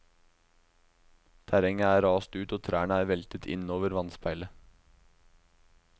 Terrenget er rast ut og trærne er veltet innover vannspeilet.